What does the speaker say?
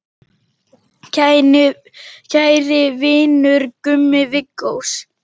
Kæri vinur, Gummi Viggós.